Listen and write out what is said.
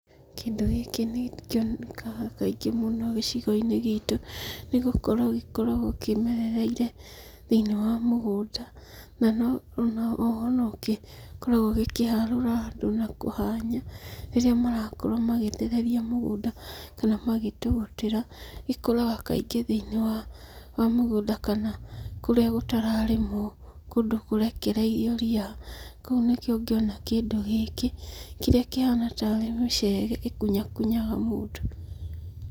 Kĩndũ gĩkĩ nĩ kĩonekaga kaingĩ mũno gĩcigo-inĩ gitũ, nĩgũkorwo gĩkoragwo kĩmerereire thĩ-inĩ wa mũgũnda, na no na oho nokĩkoragwo gĩkĩharũra andũ na kũhanya rĩrĩa marakorwo magĩtheria mũgũnda kana magĩtũgũtĩra, ikũraga kaingĩ thĩ-inĩ wa mũgũnda kana kũrĩa gũtararĩmwo, kũndũ kũrekereirio rĩa kũu nĩkuo ũngĩona kĩndũ gĩkĩ, kĩrĩa kĩhana tarĩ mũcege ĩkunyakunyaga mũndũ.